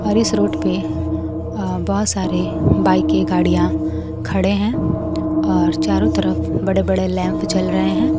और इस रोड पे अ बहोत सारे बाईकें गाड़ियां खड़े हैं और चारों तरफ बड़े बड़े लैंप जल रहे हैं।